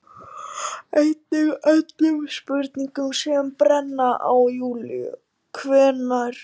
Einnig öllum spurningunum sem brenna á Júlíu: Hvenær